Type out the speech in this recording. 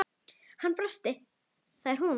Hann brosti: Það er hún